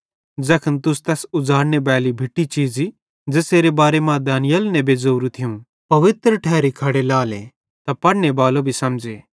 ज़ैखन तुस तैस उज़ड़ाने बाली भिट्टी चीज़ी ज़ेसेरे बारे मां दानिय्येल नेबे ज़ोरू थियूं पवित्र ठैरी खड़ी लाएले त पढ़नेबालो भी समझ़े